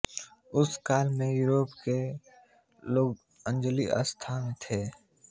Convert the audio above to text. उस काल में यूरोप के लोग जंगली अवस्था में थे